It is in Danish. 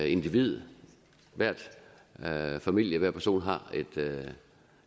individ hver familie hver person